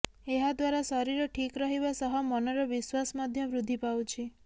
ଏହାଦ୍ୱାରା ଶରୀର ଠିକ୍ ରହିବା ସହ ମନର ବିଶ୍ୱାସ ମଧ୍ୟ ବୃଦ୍ଧି ପାଉଛି